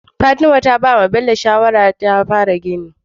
Fatima ta bawa Bello shawara ya fara gini